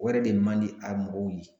O yɛrɛ de man di a mɔgɔw ye